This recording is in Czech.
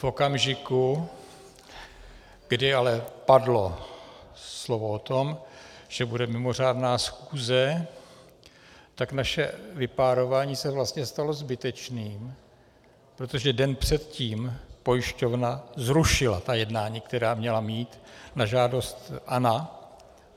V okamžiku, kdy ale padlo slovo o tom, že bude mimořádná schůze, tak naše vypárování se vlastně stalo zbytečným, protože den předtím pojišťovna zrušila ta jednání, která měla mít, na žádost ANO.